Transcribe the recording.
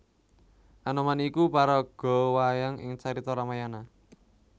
Anoman iku paraga wayang ing carita Ramayana